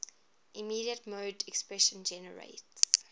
immediate mode expression generates